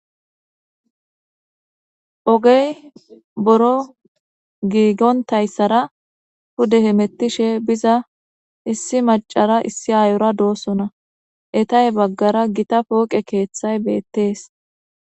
Ogey boro gigontasora pude hemetishe biza issi macara issi ayora dosona eta he bagara gita poqe keththay bettes